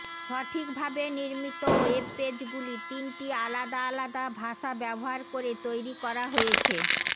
সঠিকভাবে নির্মিত ওয়েব পেজগুলি তিনটি আলাদা আলাদা ভাষা ব্যবহার করে তৈরি করা হয়েছে